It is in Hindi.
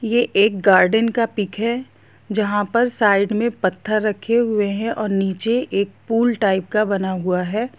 ये एक गार्डन का पिक हैं जहाँ पर साइड पे पत्थर रखे हुए हैं और नीचे एक पूल टाइप का बना हुआ हैं ।